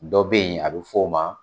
Dɔ be yen ,a be f'o ma